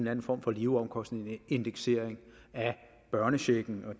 anden form for leveomkostningsindeksering af børnechecken og